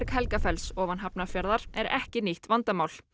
Helgafells ofan Hafnarfjarðar er ekki nýtt vandamál